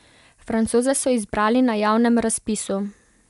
Francoze so izbrali na javnem razpisu.